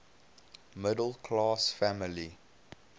middle class family